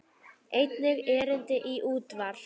Einnig erindi í útvarp.